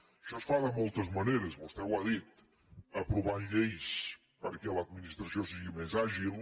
això es fa de moltes maneres vostè ho ha dit aprovant lleis perquè l’administració sigui més àgil